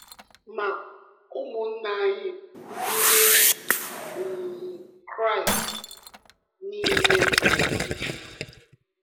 Ma ụmụnna anyị Ndị um Kraịst niile um jụrụ.